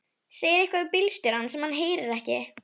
Segir eitthvað við bílstjórann sem hann heyrir ekki.